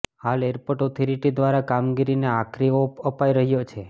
હાલ airport authority દ્વારા કામગીરીને આખરી ઓપ અપાઈ રહ્યો છે